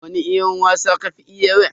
Wani wasa ka fi iya wa?